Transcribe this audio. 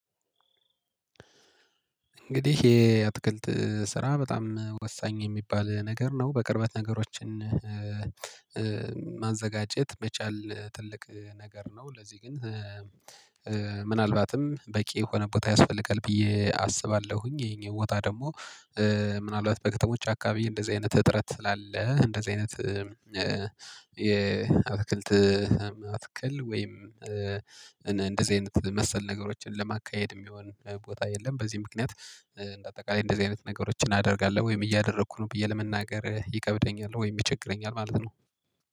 እንግዲህ የአትክልት ስራ በጣም ወሳኝ የሚባል ነገር ነው በቅርበት ነገሮችን ማዘጋጀት መቻል ትልቅ ነገር ነው። ለዚህ ግን ምናልባትም በቂ የሆነ ቦታ ያስፈልጋል ብዬ አስባለሁኝ። ይሄ ቦታ ደግሞ ምናልባት በከተሞች አከባቢ እንደዚህ አይነት እጥረት ስላለ እንደዚህ አይነት የአትክልት አትክል ወይም እንደዚህ አይነት መሰል ነገሮችን ለማካሄድ የሚሆን ቦታ የለም። በዚህ ምክንያት እንደ አጠቃላይ እንደዚህ አይነት ነገሮችን እናደርጋለን ወይም እያደረኩ ነው ብዬ ለመናገር ይከብደኛል ወይም ይቸግረኛል ማለት ነው